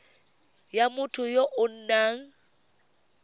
ya motho ya o nang